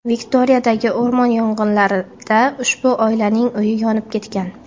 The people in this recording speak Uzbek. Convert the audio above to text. Viktoriyadagi o‘rmon yong‘inlarida ushbu oilaning uyi yonib ketgan.